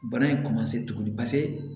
Bana in tuguni paseke